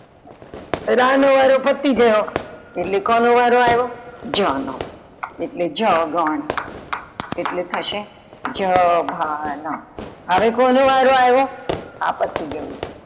રા નો વારો પતિ ગયો એટલે કોનો વારો આવ્યો? જ નો એટલે, જ ગણ એટલે થશે જ, ભા હવે કોનો વારો આવ્યો આ પતિ ગયું.